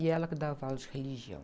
E ela que dava aula de religião.